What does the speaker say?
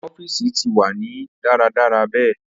Awọn ọfiisi ti wa ni daradara be